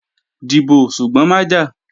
Dìbò, ṣùgbọ́n má jà!